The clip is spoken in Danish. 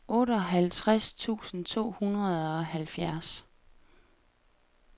otteoghalvtreds tusind to hundrede og halvfjerds